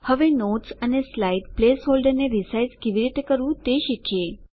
હવે નોટ્સ અને slide place હોલ્ડરને રીસાઈઝ કેવી રીતે કરવું તે શીખીએ